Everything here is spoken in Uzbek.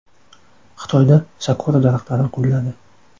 Xitoyda sakura daraxtlari gulladi.